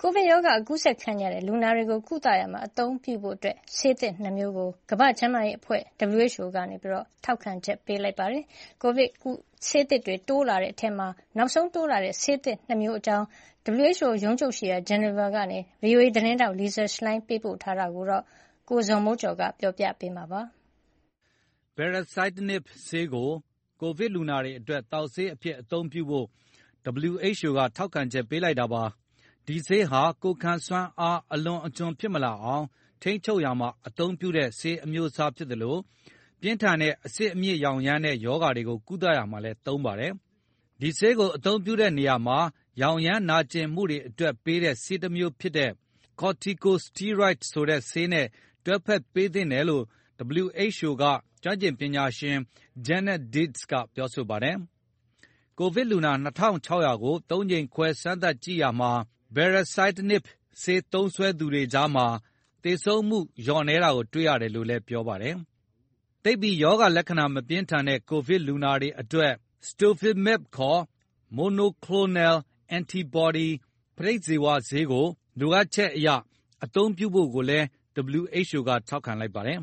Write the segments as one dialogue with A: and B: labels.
A: ိုဗစ်ရောဂါ ကူးစက်ခံရတဲ့ လူနာတွေကို ကုသရာမှာ အသုံးပြုဖို့ ဆေးသစ် ၂ မျိုးကို ကမ္ဘာ့ကျန်းမာရေးအဖွဲ့ကြီး က ထောက်ခံချက် ပေးလိုက်ပါတယ်။ ကိုဗစ်ကုဆေးသစ်တွေ တိုးလာနေတဲ့အထဲ နောက်ဆုံးပါဝင်လာတဲ့ ဆေးသစ် ၂ မျိုးအကြောင်း WHO ရုံးချုပ်ရှိရာ ဆွစ်ဇာလန်နိုင်ငံ ဂျီနီဗာမြို့ကနေ ဗွီအိုအေသတင်းထောက် Lisa Schlein သတင်းပေးပို့ထားတာကို ကိုဇော်မိုးကျော် တင်ပြပေးထားပါ
B: တယ်။ Baricitinib ဆေးသစ်ကို ကိုဗစ်လူနာတွေအတွက် သောက်ဆေးအဖြစ် အသုံးပြုဖို့ WHO က ထောက်ခံချက် ပေးလိုက်တာပါ။ ဒီဆေးဟာ ကိုယ်ခံစွမ်းအား အလွန်အကျွံ ဖြစ်မလာအောင် ထိန်းချုပ်ရာမှာ အသုံးပြုတဲ့ ဆေးအမျိုးအစား ဖြစ်သလို ပြင်းထန်တဲ့ အဆစ်အမြစ်ရောင်ရမ်းတဲ့ ရောဂါတွေကို ကုသရာမှာလည်း သုံးပါတယ်။ ဒီဆေးကို အသုံးပြုတဲ့နေရာမှာ ရောင်ရမ်းနာကျင်မှုတွေအတွက် ပေးတဲ့ ဆေးတမျိုးဖြစ်တဲ့ Corticosteroids ဆိုတဲ့ဆေးနဲ့ တွဲဖက်ပေးသင့်တယ်လို့ WHO က ကျွမ်းကျင်ပညာရှင် Janet Diaz က ပြောဆိုပါတယ်။ ကိုဗစ်လူနာ ၂,၆၀၀ ကို ၃ ကြိမ်ခွဲ စမ်းသပ်ကြည့်ရာမှာ Baricitinib ဆေး သုံးစွဲသူတွေကြားမှာ သေဆုံးမှုနှုန်း လျော့နည်းတာ တွေ့ရတယ်လို့လည်း ပြောပါတယ်။ သိပ်ပြီး ရောဂါလက္ခဏာ မပြင်းထန်တဲ့ ကိုဗစ်လူနာတွေအတွက် Sotrovimab ခေါ် Monoclonal Antibody ပဋိဇီဝဆေးကို လိုအပ်ချက်အရ အသုံးပြုဖို့လည်း WHO က ထောက်ခံလိုက်ပါတယ်။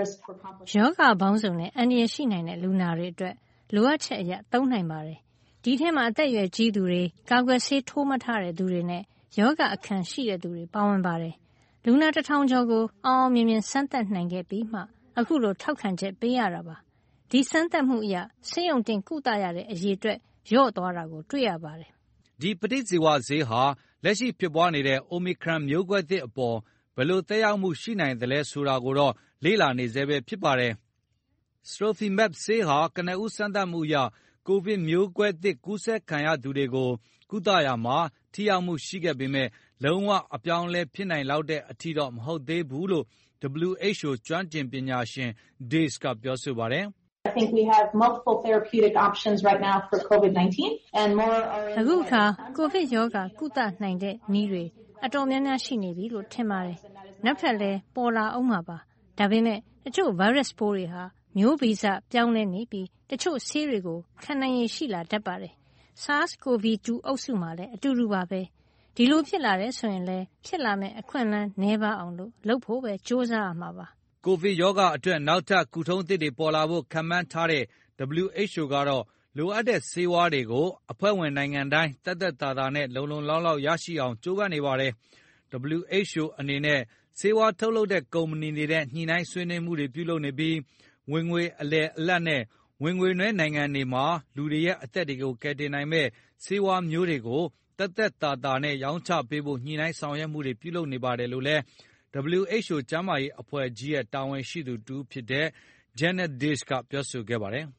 A: “ရောဂါပေါင်းစုံနဲ့ အန္တရာယ်ရှိနိုင်တဲ့ လူနာတွေအတွက် လိုအပ်ချက်အရ သုံးနိုင်ပါတယ်။ ဒီအထဲမှာ အသက်အရွယ်ကြီးသူတွေ၊ ကာကွယ်ဆေး ထိုးမထားတဲ့သူတွေနဲ့ ရောဂါအခံရှိတဲ့သူတွေ ပါဝင်ပါတယ်။ လူနာ ၁,၀၀၀ ကျော်ကို အောင်အောင်မြင်မြင် စမ်းသပ်နိုင်ခဲ့ပြီးမှ အခုလို ထောက်ခံချက် ပေးရတာပါ။ ဒီစမ်းသပ်မှုအရ ဆေးရုံတင်ကုသရတဲ့ အရေအတွက် လျော့သွားတာ တွေ့ရပါတယ်။
B: ” ဒီပဋိဇီဝဆေးဟာ လက်ရှိပြန့်ပွားနေတဲ့ အိုမီခရွန် မျိုးကွဲသစ်အပေါ် ဘယ်လိုသက်ရောက်မှု ရှိနိုင်သလဲ ဆိုတာကိုတော့ လေ့လာနေဆဲပဲ ဖြစ်ပါတယ်။ Sotrovimab ဆေးဟာ ကနဦး စမ်းသပ်မှုတွေအရ ကိုဗစ်မျိုးကွဲသစ် ကူးစက်ခံရသူတွေကို ကုသရာမှာ ထိရောက်မှုရှိပေမယ့် လုံးဝ အပြောင်းအလဲ ဖြစ်နိုင်လောက်တဲ့ အထိတော့ မဟုတ်သေးဘူးလို့လည်း WHO က ကျွမ်းကျင်ပညာရှင် Diaz က ပြောပါတယ်။
A: “အခုအခါ ကိုဗစ်ရောဂါ ကုနိုင်တဲ့နည်းတွေ တော်တော်များများ ရှိနေပြီလို့ ထင်ပါတယ်။ နောက်ထပ်လည်း ပေါ်လာဦးမှာပါ။ ဒါပေမယ့် တချို့ဗိုင်းရပ်စ်ပိုးတွေဟာ မျိုးဗီဇပြောင်းလဲနေပြီး တချို့ဆေးတွေကို ခံနိုင်ရည်ရှိတတ်ပါတယ်။ SARS-Covid 2 အုပ်စုမှာလည်း အတူတူပါပဲ။ ဒီလိုဖြစ်လာတယ်ဆိုရင်လည်း ဖြစ်လာမယ့် အခွင့်အလမ်း နည်းပါးအောင် လုပ်ဖို့ပဲ ကြိုးစားရမှာပါ။
B: ” ကိုဗစ်ရောဂါအတွက် နောက်ထပ် ကုထုံးသစ်တွေ ပေါ်လာဖို့ ခန့်မှန်းထားတဲ့ WHO ကတော့ လိုအပ်တဲ့ဆေးဝါးတွေကို အဖွဲ့ဝင်နိုင်ငံတိုင်း သက်သက်သာသာနဲ့ လုံလုံလောက်လောက် ရအောင်လုပ်ဖို့ ကြိုးပမ်းနေပါတယ်။ WHO အနေနဲ့ ဆေးဝါးထုတ်လုပ်တဲ့ ကုမ္ပဏီတွေနဲ့ ညှိနှိုင်းဆွေးနွေးမှုတွေ ပြုလုပ်နေပြီး ဝင်ငွေအလယ်အလတ်နဲ့ ဝင်ငွေနည်း နိုင်ငံတွေမှာ လူတွေရဲ့ အသက်တွေကို ကယ်တင်နိုင်မယ့် ဆေးဝါးတွေကို ဈေးသက်သက်သာသာနဲ့ ရောင်းချပေးဖို့ ညှိနှိုင်းဆောင်ရွက်မှုတွေ ပြုလုပ်နေပါတယ်လို့လည်း WHO ကျန်းမာရေးအဖွဲ့ကြီးရဲ့ တာဝန်ရှိသူတဦးဖြစ်တဲ့ Janet Diaz က ပြောဆိုခဲ့ပါတယ်။